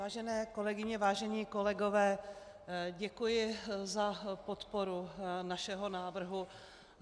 Vážené kolegyně, vážení kolegové, děkuji za podporu našeho návrhu.